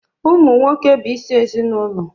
Ụmụ nwoke bụ isi ezinụlọ